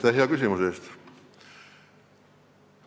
Aitäh hea küsimuse eest!